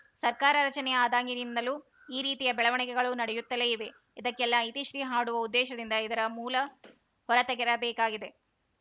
ಸರ್ಕಾರ ರಚನೆ ಆದಾಗಿನಿಂದಲೂ ಈ ರೀತಿಯ ಬೆಳವಣಿಗೆಗಳು ನಡೆಯುತ್ತಲೇ ಇವೆ ಇದಕ್ಕೆಲ್ಲ ಇತಿಶ್ರೀ ಹಾಡುವ ಉದ್ದೇಶದಿಂದ ಇದರ ಮೂಲ ಹೊರತೆಗೆರಬೇಕಾಗಿದೆ